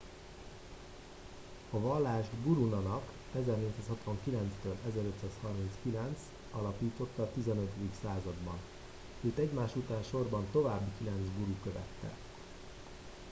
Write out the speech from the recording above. a vallást guru nanak 1469-1539 alapította a 15. században. őt egymás után sorban további kilenc guru követte